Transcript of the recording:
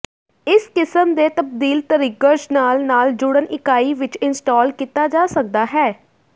ਇਸ ਕਿਸਮ ਦੇ ਤਬਦੀਲ ਟਰਿਗਰਜ਼ ਨਾਲ ਨਾਲ ਜੁੜਨ ਇਕਾਈ ਵਿੱਚ ਇੰਸਟਾਲ ਕੀਤਾ ਜਾ ਸਕਦਾ ਹੈ